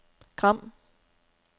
Gram